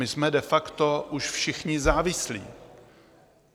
My jsme de facto už všichni závislí.